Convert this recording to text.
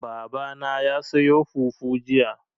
Baba na ya sayo fufu jiya.